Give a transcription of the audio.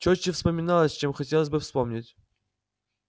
чётче вспоминалось чем хотелось бы вспомнить